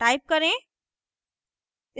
type करें